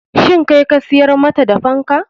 Shin kai ka siyar mata da fankan?